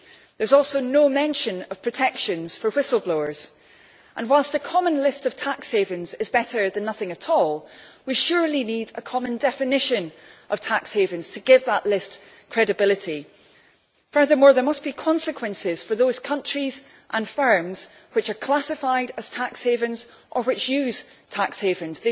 There is also no mention of protections for whistle blowers, and whilst a common list of tax havens is better than nothing at all, we surely need a common definition of tax havens to give that list credibility. Furthermore there must be consequences for those countries and firms which are classified as tax havens or which use tax havens.